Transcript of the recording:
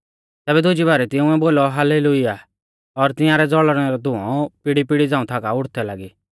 तैबै दुजी बारै तिंउऐ बोलौ हाल्लेलुय्याह तिंआरै ज़ौल़णै रौ धुंऔ पीड़ीपीड़ी झ़ांऊ थाका आ उठदै लागी